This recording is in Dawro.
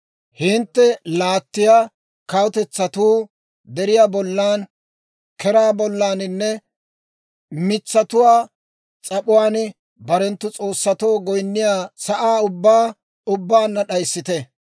Hintte laattiyaa kawutetsatuu deriyaa bollan, zooziyaa bollaninne mitsatuwaa s'ap'uwaan barenttu s'oossatoo goyinniyaa sa'aa ubbaa ubbaanna d'ayissite.